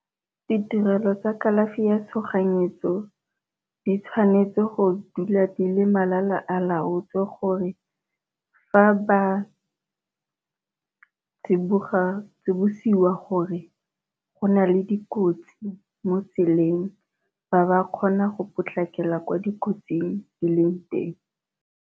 Ditirelo tsa kalafi ya tshoganyetso di tshwanetse go dula di le malala a laotswe, gore fa ba tsibosiwa gore go na le dikotsi mo tseleng ba ba kgona go potlakela kwa dikotsing di leng teng.